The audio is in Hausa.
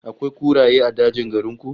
Akwai kuraye a dajin garin ku?